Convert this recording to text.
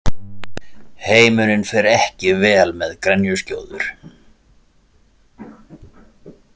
Heimurinn fer ekki vel með grenjuskjóður.